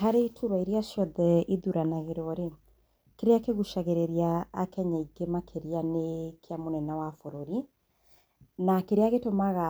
Harĩ iturwa iria ciothe ithuranagĩrwo, kĩrĩa kĩgũcagĩrĩrĩa akenya aingĩ makĩria nĩ kĩa mũnene wa bũrũri. Na kĩrĩa gĩtũmaga